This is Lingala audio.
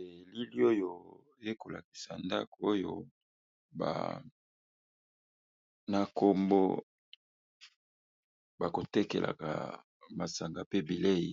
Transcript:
Elili oyo eko lakisa ndako oyo ba na kombo bako tekelaka masanga pe bilei,